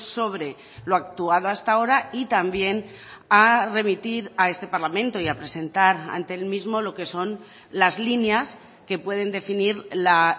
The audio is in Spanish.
sobre lo actuado hasta ahora y también a remitir a este parlamento y a presentar ante el mismo lo que son las líneas que pueden definir la